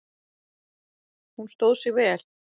Hún stóð sig vel